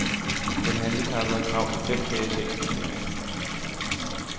Den handicappede har krav på fem dages ekstra ferie.